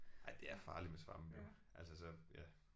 Ej det er farligt med svampe altså så ja